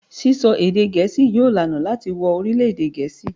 Sisọ èdè Gẹẹsi yóò laná láti wo orilẹ-ede Gẹẹsi